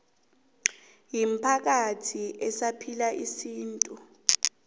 imiphakathi esaphila isintu